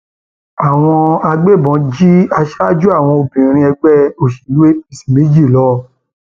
àwọn agbébọn jí aṣáájú àwọn obìnrin ẹgbẹ òṣèlú apc méjì lọ